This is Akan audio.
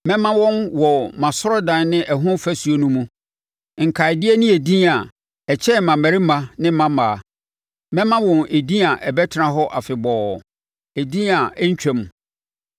mɛma wɔn, wɔ mʼasɔredan ne ɛho afasuo no mu, nkaedeɛ ne edin a ɛkyɛn mmammarima ne mmammaa; mɛma wɔn edin a ɛbɛtena hɔ afebɔɔ, edin a ɛrentwam.